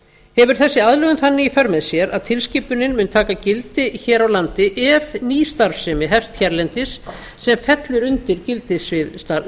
hefur þessi aðlögun þannig í för með sér að tilskipunin mun taka gildi hér á landi ef ný starfsemi hefst hérlendis sem fellur undir gildissvið